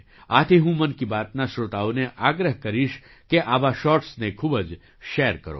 આથી હું મન કી બાતના શ્રોતાઓને આગ્રહ કરીશ કે આવા શૉર્ટ્સને ખૂબ જ શૅર કરો